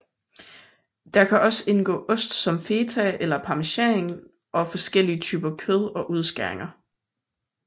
Der kan også indgå ost som feta eller parmesan og forskellige typer kød og udskæringer